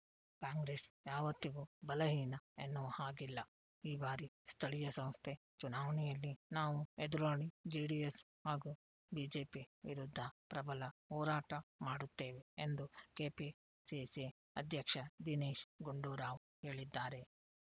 ಕಾಂಗ್ರೆಸ್‌ ಯಾವತ್ತಿಗೂ ಬಲ ಹೀನ ಎನ್ನುವ ಹಾಗಿಲ್ಲ ಈ ಬಾರಿ ಸ್ಥಳೀಯ ಸಂಸ್ಥೆ ಚುನಾವಣೆಯಲ್ಲಿ ನಾವು ಎದುರಾಳಿ ಜೆಡಿಎಸ್‌ ಹಾಗೂ ಬಿಜೆಪಿ ವಿರುದ್ಧ ಪ್ರಬಲ ಹೋರಾಟ ಮಾಡುತ್ತೇವೆ ಎಂದು ಕೆಪಿಸಿಸಿ ಅಧ್ಯಕ್ಷ ದಿನೇಶ್‌ ಗುಂಡೂರಾವ್‌ ಹೇಳಿದ್ದಾರೆ